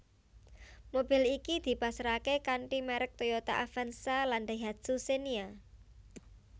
Mobil iki dipasaraké kanthi merk Toyota Avanza lan Daihatsu Xenia